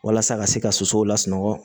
Walasa ka se ka sosow lasunɔgɔ